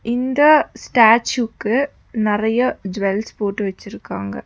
இந்த ஸ்டாச்சுக்கு நெறைய ஜுவல்ஸ் போட்டு வச்சிருக்காங்க.